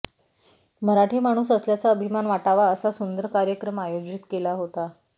मराठी माणूस असल्याचा अभिमान वाटावा असा सुंदर कार्यक्रम आयोजित केला होता